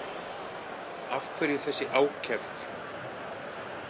Af hverju þessi ákefð?